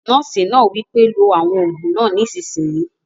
Nọ́ọ̀sì náà wí pé "lo àwọn òògùn náà nísìsiyìí!"